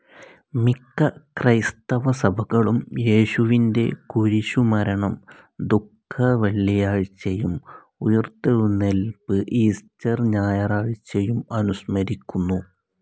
മിക്ക ക്രൈസ്തവ സഭകളും യേശുവിന്റെ കുരിശുമരണം ദുഃഖവെള്ളിയാഴ്ചയും ഉയിർത്തെഴുന്നേല്പ്പ് ഈസ്റ്റർ ഞായറാഴ്ചയും അനുസ്മരിക്കുന്നു.